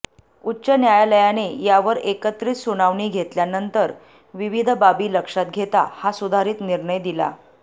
उच्च न्यायालयाने यावर एकत्रित सुनावणी घेतल्यानंतर विविध बाबी लक्षात घेता हा सुधारित निर्णय दिला